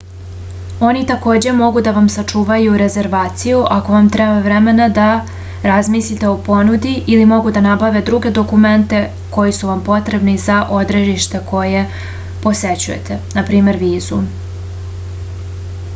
они такође могу да вам сачувају резервацију ако вам треба времена да размислите о понуди или могу да набаве друге документе који су вам потребни за одредиште које посећујете нпр. визу